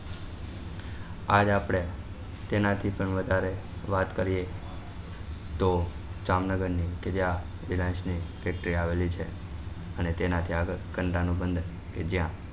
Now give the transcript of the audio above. આજ આપડે તેના થી પણ વધારે વાત કરીએ તો જામનગર ની કે જ્યાં મિરાજ ની ફેક્ટરી આવેલી છે અને તેના થી આગળ કંડલા નું બંદર કે જ્યાં